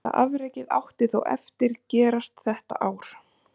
Helsta afrekið átti þó eftir gerast þetta ár.